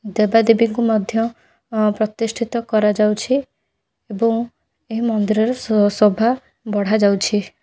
ଦେବା ଦେବୀ ଙ୍କୁ ମଧ୍ୟ ପ୍ରତିଷ୍ଠିତ କରାଯାଉଛି। ଏବଂ ଏହି ମନ୍ଦିରରେ ସୋଭା ବଢ଼ା ଯାଉଛି।